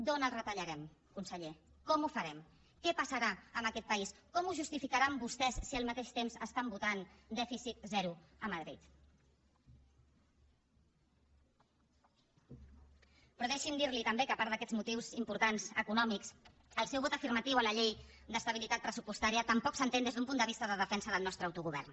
d’on els retallarem conseller com ho farem què passarà amb aquest país com ho justificaran vostès si al mateix temps estan votant dèficit zero a madrid però deixi’m dir li també que a part d’aquests motius importants econòmics el seu vot afirmatiu a la llei d’estabilitat pressupostària tampoc s’entén des d’un punt de vista de defensa del nostre autogovern